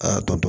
Aa tɔ